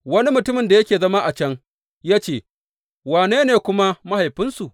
Wani mutumin da yake zama a can ya ce, Wane ne kuma mahaifinsu?